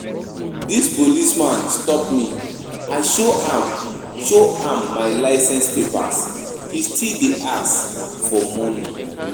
Dis policeman stop me, I show am show am my license papers ,he still dey ask for money